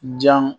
Jan